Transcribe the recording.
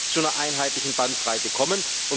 zu einer einheitlichen Bandbreite zukommen.